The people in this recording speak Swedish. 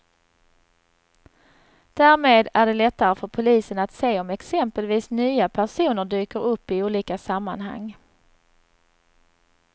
Därmed är det lättare för polisen att se om exempelvis nya personer dyker upp i olika sammanhang.